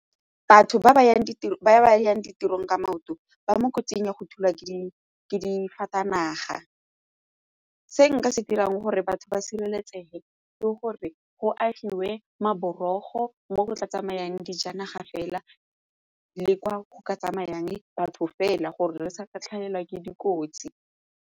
Batho ba ba yang ditirong ka maoto ba mo kotsing ya go thulwa ke dijanaga. Se nka se dirang gore batho ba sireletsege ke gore go agiwe maboriki tlhogo mo go tla tsamayang dijanaga fela le kwa go ka tsamayang batho fela gore re sa ka tlhagelwa ke dikotsi.